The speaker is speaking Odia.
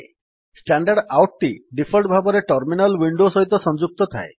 standardoutଟି ଡିଫଲ୍ଟ୍ ଭାବରେ ଟର୍ମିନାଲ୍ ୱିଣ୍ଡୋ ସହିତ ସଂଯୁକ୍ତ ଥାଏ